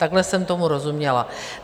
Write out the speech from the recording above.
Takhle jsem tomu rozuměla.